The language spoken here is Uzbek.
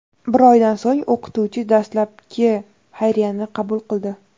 Bir oydan so‘ng o‘qituvchi dastlabkli xayriyani qabul qildi.